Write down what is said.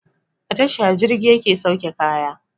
A tasha jirgi yake sauke kaya